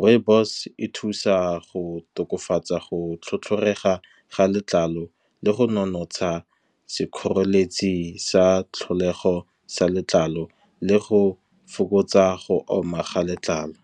Rooibos e thusa go tokafatsa go tlhotlhorega ga letlalo, le go nonotsha sekgoreletsi sa tlholego sa letlalo, le go fokotsa go oma ga letlalo.